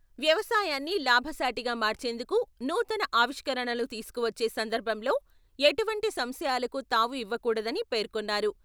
వ్యవసాయాన్ని లాభసాటిగా మార్చేందుకు నూతన ఆవిష్కరణలు తీసుకువచ్చే సందర్భంలో ఎటువంటి సంశయాలకు తావు ఇవ్వకూడదని పేర్కొన్నారు.